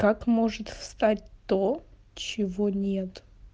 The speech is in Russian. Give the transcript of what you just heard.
как может встать то чего нет